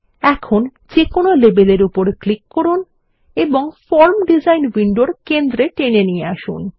এখন যেকোনো লেবেলের উপর ক্লিক করুন এবং ফর্ম ডিজাইন উইন্ডোর কেন্দ্রে টেনে নিয়ে আসুন